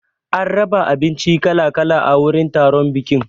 An raba abinci kala kala a wurin taron bikin.